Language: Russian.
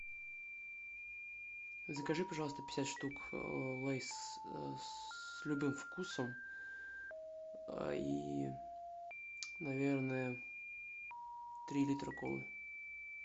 закажи пожалуйста пятьдесят штук лейс с любым вкусом и наверное три литра колы